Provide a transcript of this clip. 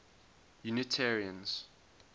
unitarians